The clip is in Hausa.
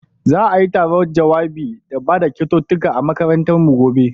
Za'ai taron jawabai da bada kyaututtukan a makarantar mu gobe.